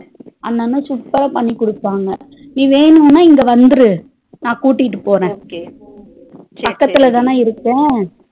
அந்த அண்ண super ரா பண்ணி குடுப்பாங்க நீ வேணும்னா இங்க வந்துரு நா குட்டிட்டுபோற பக்கதுலதானா இருப்போம்